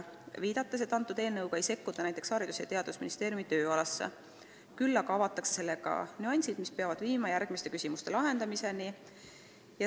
Ta viitas, et selle eelnõuga ei sekkuta näiteks Haridus- ja Teadusministeeriumi tööalasse, küll aga juhitakse tähelepanu nüanssideni, mis peavad viima järgmiste küsimuste lahendamiseni.